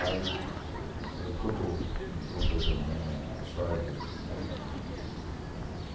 Aí ele contou, ele contou também a história dele.